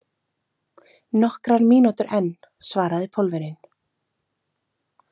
Nokkrar mínútur enn, svaraði Pólverjinn.